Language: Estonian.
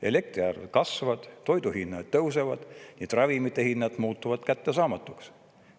Elektriarved kasvavad, toiduhinnad tõusevad, nii et ravimite hinnad muutuvad kättesaamatuks.